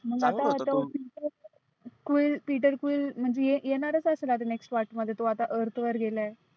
मग आता quel petter quel म्हणजे येणारच असेल आता next part मध्ये. तो आता earth वर गेलाय.